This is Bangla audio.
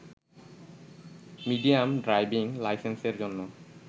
মিডিয়াম ড্রাইভিং লাইসেন্সের জন্য